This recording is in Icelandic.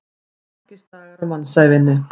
Merkisdagar á mannsævinni.